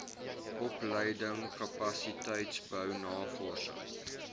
opleiding kapasiteitsbou navorsing